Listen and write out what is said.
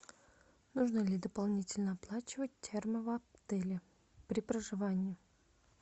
нужно ли дополнительно оплачивать термо в отеле при проживании